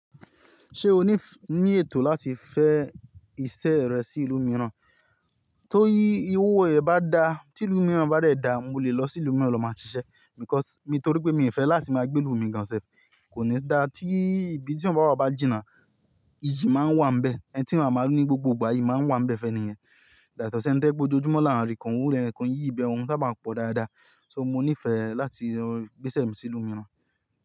Ṣé o ní ní ètò láti fẹ́ ìṣe rẹ sí ìlú mìíràn? Tó ihiwò ẹ bá dá, tí ìlú mìíràn bá dẹ̀ dá, mo lè lọ sí ìlú mìíràn lọ máa ṣiṣẹ́ because nítorí pé mi ò fẹ́ láti máa gbé ilu mi gan se. Kò ní dá tí ibi tí eyan bàwá bà jìnnà, ìyì máa ń wà níbẹ̀, ẹ́ni tí eyan máa ri ní gbogbo ìgbà iyí máa ń wà níbẹ̀ fẹ́ni yẹn. Dàtọ̀ ṣeni to je pe ojojúmọ́ là ń rí kan, owó ẹni kan yìí ibẹ̀ ọ̀ún sábà máa ń pọ̀ dáadáa. So mo nífẹ̀ẹ́ láti gbéṣẹ mi sínú urun.